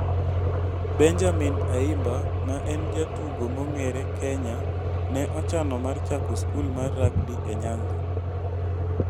Benjamin Ayimba ma en jatugo mong'ere Kenya ne ochano mar chako skul mar rugby e Nyanza